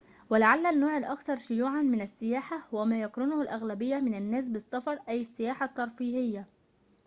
ولعلّ النوع الأكثر شيوعاً من السياحة هو ما يقرنه الأغلبية من الناس بالسفر أي السياحة الترفيهية